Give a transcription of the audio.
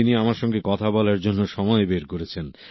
তিনি আমার সঙ্গে কথা বলার জন্য সময় বের করেছেন